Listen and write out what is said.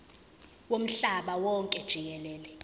womhlaba wonke jikelele